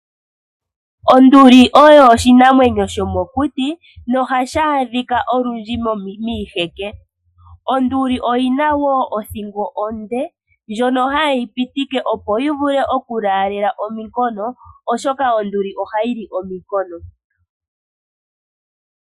Onduli oyo oshinamwenyo shomokuti no ohashi adhika olundji miiheke. Onduli oyina woo odhingo onde , ndjono hayi yi pitike opo yi vule oku laalela ominkono, oshoka onduli ohayi li ominkono.